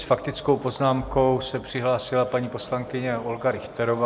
S faktickou poznámkou se přihlásila paní poslankyně Olga Richterová.